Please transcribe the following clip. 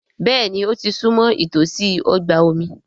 Béèni ó ti súnmọ́ ìtòsí ọgbà omi.